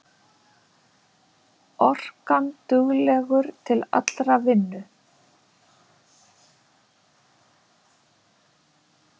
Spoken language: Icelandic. Orkanduglegur til allrar vinnu.